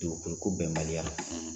Dugukolo ko bɛnbaliya